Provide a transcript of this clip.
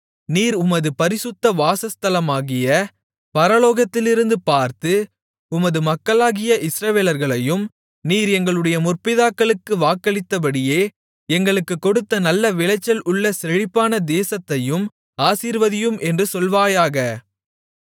நீர் உமது பரிசுத்த வாசஸ்தலமாகிய பரலோகத்திலிருந்து பார்த்து உமது மக்களாகிய இஸ்ரவேலர்களையும் நீர் எங்களுடைய முற்பிதாக்களுக்கு வாக்களித்தபடியே எங்களுக்குக் கொடுத்த நல்ல விளைச்சல் உள்ள செழிப்பான தேசத்தையும் ஆசீர்வதியும் என்று சொல்வாயாக